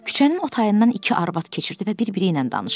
Küçənin o tayından iki arvad keçirdi və bir-biri ilə danışırdı.